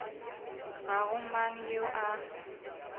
ga go mang yo a